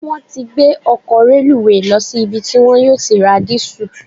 Wọ́n ti gbé ọkọ̀ reluwé lọ sí ibi tí wọ́n yóò ti ra dìísù.